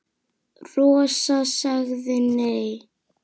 Rosa sagði nei.